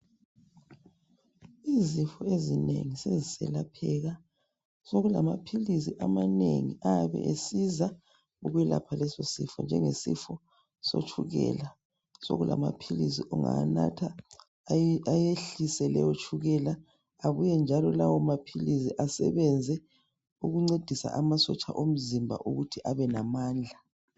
Izifo ezinengi sezelapheka. Sekulama philisi amanengi ayabe esiza ukwelapha leso sifo. Njengesifo sotshukela, sokulamaphilisi ongawanatha ayehlise leyo tshukela abuyenjalo lawo maphilisi asebebenze ukuncedisa amasotsha omzimba ukuthi abelamandla.